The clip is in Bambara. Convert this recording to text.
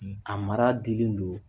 A mara dilen don